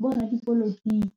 boradipolotiki.